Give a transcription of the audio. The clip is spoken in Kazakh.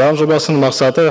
заң жобасының мақсаты